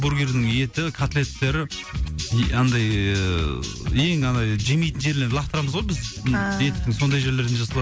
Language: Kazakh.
бургердің еті котлеттері и андай ыыы ең андай жемейтін жерлерін лақтырамыз ғой біз ааа еттің сондай жерлерден жасалады